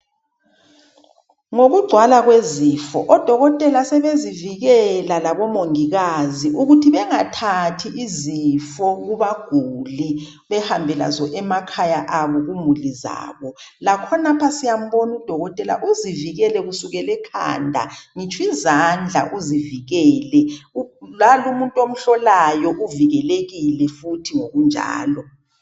Ngokugcwala kwezifo odokotela sebezivikela labomongikazi ukuthi bengathathi izifo kubaguli behambe lazo emakhaya abo kumuli zabo, lakhonapha siyambona udokotela uzivikele kusukela ekhanda ngitsho izandla uzivikele lalo umuntu omhlolayo uvikelekile futhi ngokunjalo.